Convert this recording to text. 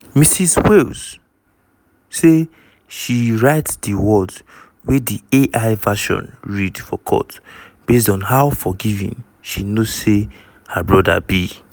ms wales say she write di words wey di ai version read for court based on how forgiving she know say her brother be.